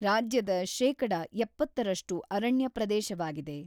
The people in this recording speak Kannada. ರಾಜ್ಯದ ಶೇಕಡಾ ಎಪ್ಪತ್ತರಷ್ಟು ಅರಣ್ಯ ಪ್ರದೇಶವಾಗಿದೆ.